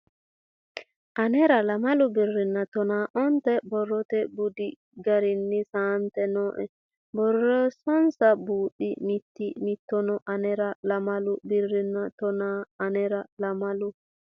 Anera lamalu birrinna tonaa onte borrote budi garinni saante nooe borreessansa buuxi mitii mitanno Anera lamalu birrinna tonaa Anera lamalu.